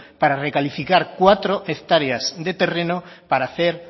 para recalificar cuatro hectáreas de terreno para hacer